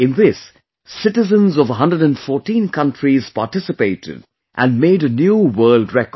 In this, citizens of 114 countries participated and made a new world record